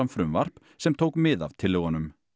frumvarp sem tók mið af tillögunum